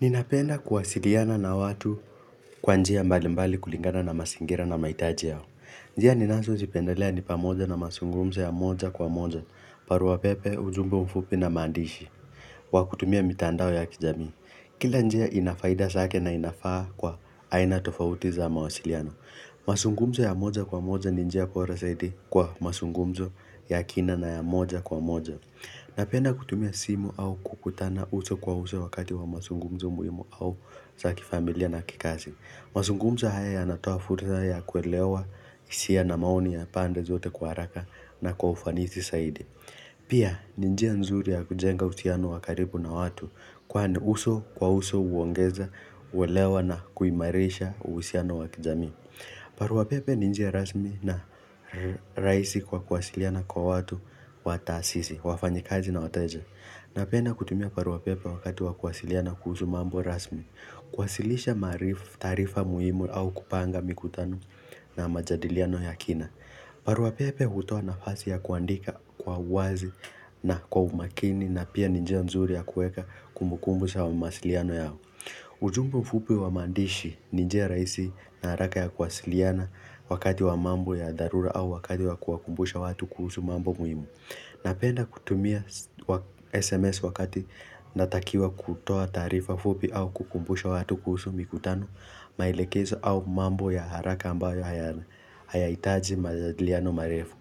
Ninapenda kuwasiliana na watu kwa njia mbali mbali kulingana na masingira na mahitaji yao. Njia ninazozipendelea ni pamoja na masungumzo ya moja kwa moja, barua pepe, ujumbe mfupi na mandishi, wa kutumia mitandao ya kijamii. Kila njia ina faida zake na inafaa kwa aina tofauti za mawasiliano mazungumzo ya moja kwa moja ni njia bora zaidi kwa mazungumzo ya kina na ya moja kwa moja. Napenda kutumia simu au kukutana uso kwa uso wakati wa mazungumzo muhimu au za kifamilia na kikazi. Mazungumzo haya ya natoa fursa ya kuelewa hisia na maoni ya pande zote kwa haraka na kwa ufanisi saidi. Pia ni njia nzuri ya kujenga uhusiano wa karibu na watu kwani uso kwa uso huongeza kuelewa na kuimarisha uhusiano wa kijamii. Barua pepe ni njia rasmi na rahisi kwa kuwasiliana kwa watu wataasisi, wafanyakazi na wateja Napenda kutumia barua pepe wakati wa kuwasiliana kuhusu mambo rasmi kuwasilisha maarifa taarifa muhimu au kupanga mikutano na majadiliano ya kina barua pepe hutoa nafasi ya kuandika kwa uwazi na kwa umakini na pia ni njia nzuri ya kueka kumbukumbu za mawasiliano yao ujumbe mfupi wa maandishi ni njia rahisi na haraka ya kuwasiliana wakati wa mambo ya dharura au wakati wa kuwakumbusha watu kuhusu mambo muhimu. Napenda kutumia SMS wakati natakiwa kutoa taarifa fupi au kukumbusha watu kuhusu mikutano maelekezo au mambo ya haraka ambayo haya hayahitaji majadiliano marefu.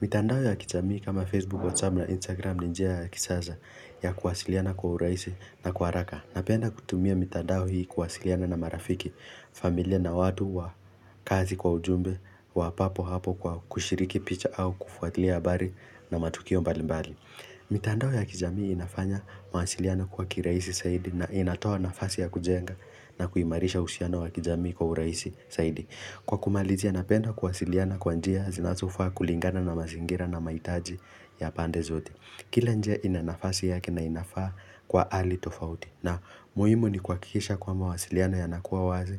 Mitandao ya kijamii kama Facebook, WhatsApp na Instagram ni njia ya kisasa ya kuwasiliana kwa urahisi na kwa haraka. Napenda kutumia mitandao hii kuwasiliana na marafiki, familia na watu wa kazi kwa ujumbe wa papo hapo kwa kushiriki picha au kufuatilia habari na matukio mbali mbali. Mitandao ya kijamii inafanya mawasiliano kwa kirahisi saidi na inatoa nafasi ya kujenga na kuimarisha uhusiano wa kijamii kwa urahisi saidi. Kwa kumalizia ya napenda kuwasiliana kwa njia zinazofaa kulingana na mazingira na mahitaji ya pande zote. Kila njia ina nafasi yake na inafaa kwa ali tofauti na muhimu ni kuhakikisha kuwa mawasiliano yanakuwa wazi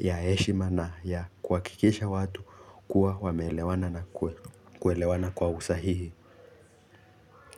ya heshima na ya kuhakikisha watu kuwa wame elewana na kuelewana kwa usahihi.